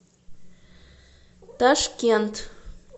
ташкент